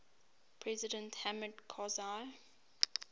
president hamid karzai